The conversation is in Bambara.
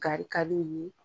Kari ka d'olu ye